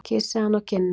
Kyssi hana á kinnina.